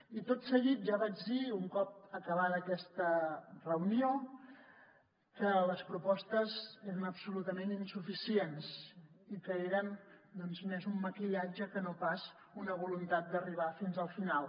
i tot seguit ja vaig dir un cop acabada aquesta reunió que les propostes eren absolutament insuficients i que eren doncs més un maquillatge que no pas una voluntat d’arribar fins al final